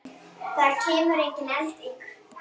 Það kemur engin elding.